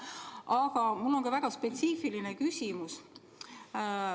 Aga mul on ka üks väga spetsiifiline küsimus.